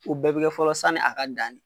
O bɛɛ be kɛ fɔlɔ sanni a ka dan